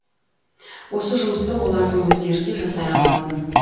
осы жұмысты олардың өздері де жасай алатын